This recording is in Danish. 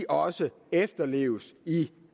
også efterleves i